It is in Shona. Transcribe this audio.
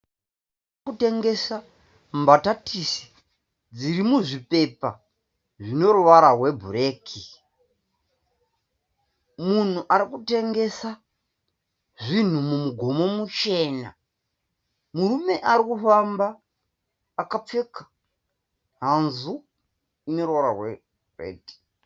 Vanhu vari kutengesa mbatatisi dziri muzvipepa zvine ruvara rwebhureki. Munhu ari kutengesa zvinhu mumugomo muchena. Murume ari kufamba akapfeka hanzu ine ruvara rweredhi.